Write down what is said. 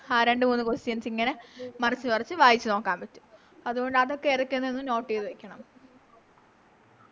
ആ രണ്ട് മൂന്ന് Questions ഇങ്ങനെ മറിച്ച് മറിച്ച് വായിച്ച് നോക്കാം അതുകൊണ്ട് അതൊക്കെ ഇടക്കൊന്ന് Note ചെയ്തവ വെക്കണം